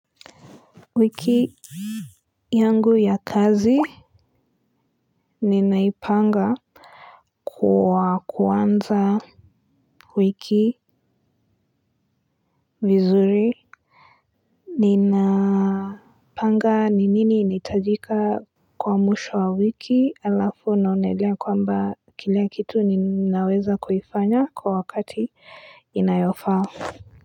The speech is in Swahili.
Wiki yangu ya kazi ninaipanga kwa kuanza wiki vizuri nina panga ni nini inahitajika kwa mwisho wa wiki alafu naonelea kwamba kila kitu ninaweza kukifanya kwa wakati inayofa.